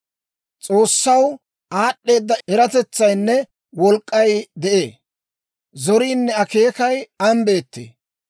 S'oossaw aad'd'eeda eratetsaynne wolk'k'ay de'ee; zoriinne akeekay an beettee.